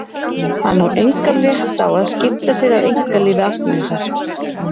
Hann á engan rétt á að skipta sér af einkalífi Agnesar.